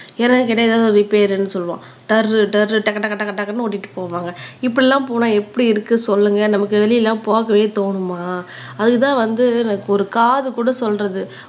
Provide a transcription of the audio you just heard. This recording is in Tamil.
என்னனு கேட்டா எதாவது கேட்டா ரிப்பேர்ன்னு சொல்லுவான் டர் டர் டக்கு டக்கு டக்கு டக்குன்னு ஓட்டிட்டு போவாங்க இப்படி எல்லாம் போனா எப்படி இருக்கு சொல்லுங்க நமக்கு வெளியில எல்லாம் போகவே தோணுமா அதுக்குதான் வந்து எனக்கு ஒரு காது கூட சொல்றது